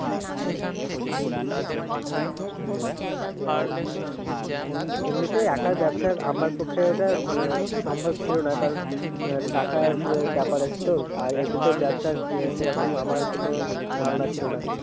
হম আর হম এমনিতে একার ব্যবসা আমার পক্ষে ওটা সম্ভব ছিল না কারণ টাকার ব্যাপার আছে তো, আর এমনিতেও ব্যবসায় সেরকম আমার কোন ধারণা ছিল না।